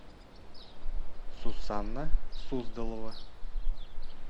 сусанна суздалова